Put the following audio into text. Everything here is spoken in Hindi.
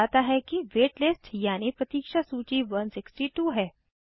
यह बताता है वेट लिस्ट यानि प्रतीक्षा सूची 162 है